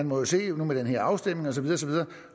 må se med den her afstemning